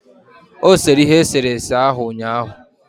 O sere ihe eserese ahụ ụnyaahụ